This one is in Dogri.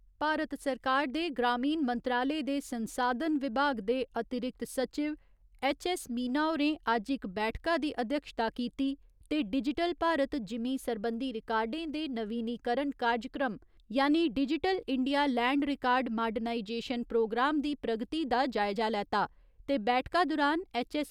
भारत सरकार दे ग्रामीण मंत्रालय दे संसाधन विभाग दे अतिरिक्त सचिव ऐच्च. ऐस्स. मीना होरें अज्ज इक बैठका दी अध्यक्षता कीती ते डिजटल भारत जिमींं सरबंधी रिकार्डें दे नवीनीकरण कारजक्रम यानि digital India land record modernisation programme दी प्रगति दा जायजा लैता ते बैठका दुरान ऐच्च. ऐस्स.